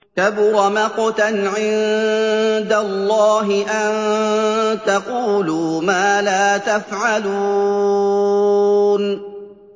كَبُرَ مَقْتًا عِندَ اللَّهِ أَن تَقُولُوا مَا لَا تَفْعَلُونَ